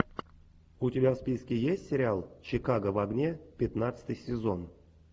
у тебя в списке есть сериал чикаго в огне пятнадцатый сезон